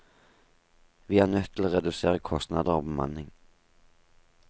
Vi er nødt til å redusere kostnader og bemanning.